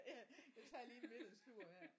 Ja jeg tager lige en middagslur her